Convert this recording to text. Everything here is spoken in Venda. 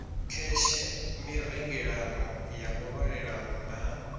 kheshe mirengelano ya muvhalelano na